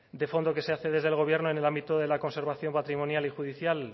de fondo se hace desde el gobierno en el ámbito de la conservación patrimonial y judicial